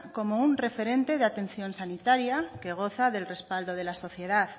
como un referente de atención sanitaria que goza del respaldo de la sociedad